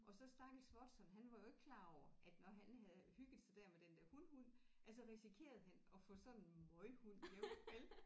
Og så stakkels Watson han var jo ikke klar over at når han havde hygget sig der med den der hunhund at så risikerede han at få sådan en møghund hjem vel